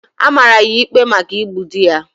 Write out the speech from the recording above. A mara ya ikpe maka igbu di ya.